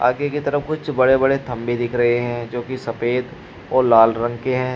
आगे की तरफ कुछ बड़े बड़े खंभे दिख रहे हैं जो की सफेद और लाल रंग के हैं।